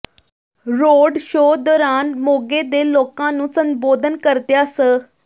road show ਦੌਰਾਨ ਮੋਗੇ ਦੇ ਲੋਕਾਂ ਨੂੰ ਸੰਬੋਧਨ ਕਰਦਿਆਂ ਸ